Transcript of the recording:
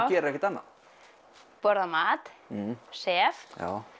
gerir ekkert annað borða mat sef